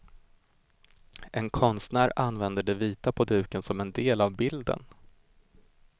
En konstnär använder det vita på duken som en del av bilden.